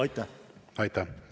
Aitäh!